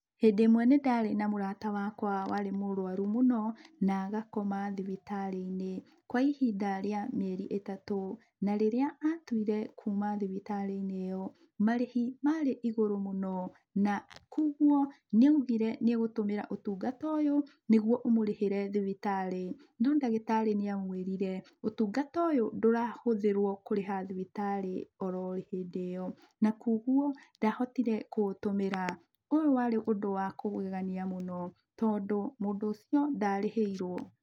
Hĩndĩ ĩmwe nĩ ndarĩ na mũrata wakwa warĩ mũrũaru mũno, na agakoma thibitarĩ-inĩ, kwa ihinda rĩa mĩeri ĩtatũ. Na rĩrĩa atuire kuma thibitarĩ-inĩ ĩyo, marĩhi marĩ igũrũ mũno, na kwa ũguo, nĩ augire nĩ egũtũmĩra ũtungata ũyũ nĩguo ũmũrĩhĩre thibitarĩ, no ndagĩtarĩ nĩ amwĩrire, ũtungata ũyũ ndũrahũthĩrwo kũrĩha thibitarĩ oro hĩndĩ ĩyo, na koguo ndahotire kũ ũtũmĩra. Ũyũ warĩ ũndũ wa kũgegania mũno tondũ mũndũ ũcio ndarĩhĩirwo.